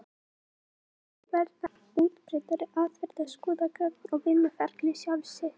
Hitt er þó að verða útbreiddari aðferð að skoða gögn um vinnuferlið sjálft.